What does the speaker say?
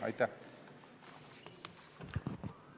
Aitäh!